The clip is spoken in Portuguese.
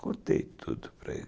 Contei tudo para ele.